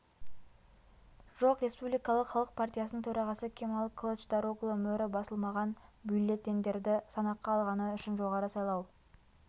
жоқ республикалық халық партиясының төрағасы кемал кылычдароглы мөрі басылмаған бюллетендерді санаққа алғаны үшін жоғары сайлау